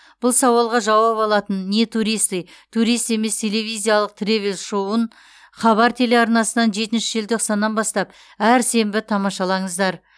бұл сауалға жауап алатын не туристы турист емес телевизиялық тревел шоуын хабар телеарнасынан жетінші желтоқсаннан бастап әр сенбі тамашалаңыздар